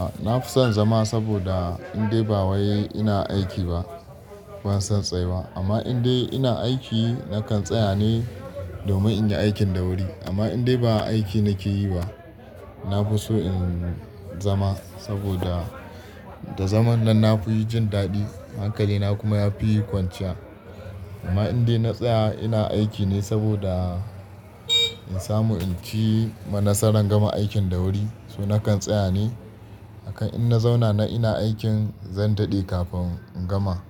A na fi son zama saboda in dai ba wai ina aiki ba, ban son tsaye ba. Amma in dai ina aiki nakan tsaya ne domin in yi aikin da wuri. Amma in dai ba aiki nake yi ba, na fi so in zama saboda da zaman nan na fi yin jin daɗi, hankalina kuma ya fi yi kwanciya. Amma in dai na tsaya ina aiki ne saboda in samu in ci ma nasaran gama aikin da wuri, so nakan tsaya ne. Akan in na zauna na ina aikin zan daɗe kafin in gama.